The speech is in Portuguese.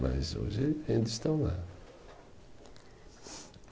Mas hoje ainda estão lá.